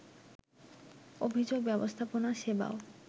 অভিযোগ ব্যবস্থাপনা সেবাও